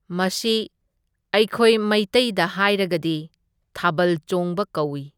ꯃꯁꯤ ꯑꯩꯈꯣꯏ ꯃꯩꯇꯩꯗ ꯍꯥꯏꯔꯒꯗꯤ ꯊꯥꯕꯜ ꯆꯣꯡꯕ ꯀꯧꯢ꯫